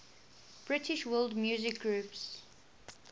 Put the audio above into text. british world music groups